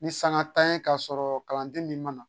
Ni sanga ta ye ka sɔrɔ kalanden min ma